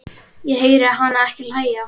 Ég heyri hana ekki hlæja